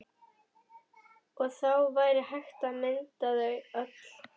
Og þá væri hægt að mynda þau öll.